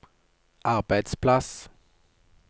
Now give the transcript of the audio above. arbeidsplass